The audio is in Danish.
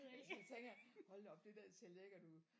Det eneste jeg tænker hold da op det der ser lækkert ud